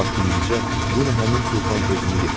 Lap indicə yenə həmin tufan özünü yetirəcək.